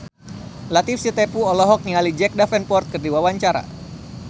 Latief Sitepu olohok ningali Jack Davenport keur diwawancara